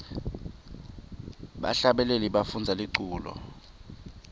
bahlabeleli bafundza liculo